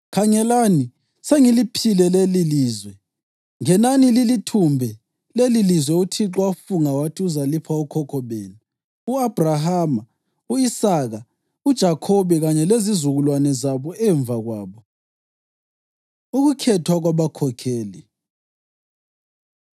Khangelani, sengiliphile lelilizwe. Ngenani lilithumbe lelilizwe uThixo afunga wathi uzalipha okhokho benu, u-Abhrahama, u-Isaka, uJakhobe kanye lezizukulwane zabo emva kwabo.’ ” Ukukhethwa Kwabakhokheli